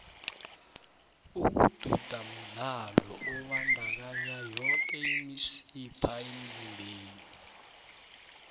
ukududa mdlalo obandakanya yoke imisipha emzimbeni